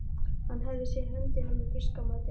Hann hafði séð höndina með fiskamatinn.